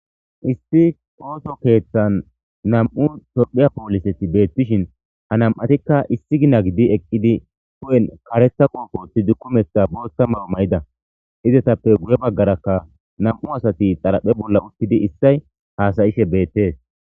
Issi oththo keththan nam'u tophiya polisetti bettishin ha nam'atikka issi gina giddi eqidi huphen karetha qobewothidi kumetha botha mayo mayida izetappe guye bagarakka nam'u asati xaraphe bolla uttidi detees izetappe issay hassa'ishe bettees.